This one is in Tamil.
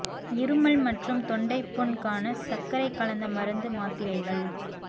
இருமல் மற்றும் தொண்டை புண் க்கான சர்க்கரை கலந்த மருந்து மாத்திரைகள்